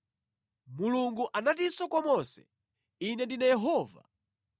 Mulungu anatinso kwa Mose, “Ine ndine Yehova.